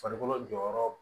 Farikolo jɔyɔrɔ